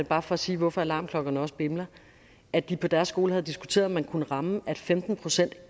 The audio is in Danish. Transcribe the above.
bare for at sige hvorfor alarmklokkerne også bimler at de på deres skole havde diskuteret om man kunne ramme at femten procent